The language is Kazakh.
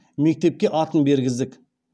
мектепке атын бергіздік